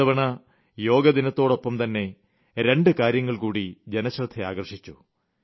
ഇത്തവണ യോഗാ ദിനത്തോടൊപ്പം തന്നെ രണ്ട് കാര്യങ്ങൾ കൂടി ജനശ്രദ്ധ ആകർഷിച്ചു